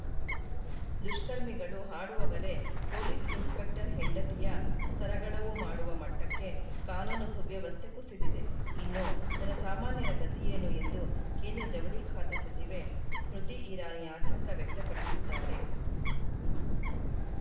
ದುಷ್ಕರ್ಮಿಗಳು ಹಾಡಹಗಲೇ police inspector ಹೆಂಡತಿಯ ಸರಗಳವು ಮಾಡುವ ಮಟ್ಟಕ್ಕೆ ಕಾನೂನುಸುವ್ಯವಸ್ಥೆ ಕುಸಿದಿದೆ ಇನ್ನು ಜನಸಾಮಾನ್ಯರ ಗತಿ ಏನು ಎಂದು ಕೇಂದ್ರ ಜವಳಿ ಖಾತೆ ಸಚಿವೆ ಸ್ಮೃತಿ ಇರಾನಿ ಆತಂಕ ವ್ಯಕ್ತಪಡಿಸಿದ್ದಾರೆ